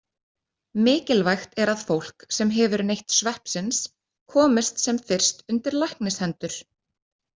Mikilvægt er að fólk sem hefur neytt sveppsins komist sem fyrst undir læknishendur.